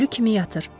Ölü kimi yatır.